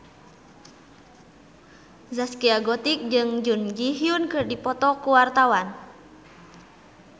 Zaskia Gotik jeung Jun Ji Hyun keur dipoto ku wartawan